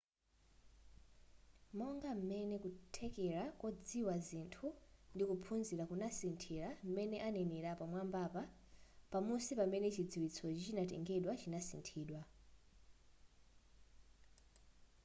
monga m'mene kuthekera kodziwa zinthu ndi kuphunzira kunasithira m'mene anenera pamwambapa pamusi pamene chidziwitsochi chinatengedwa chinasinthidwa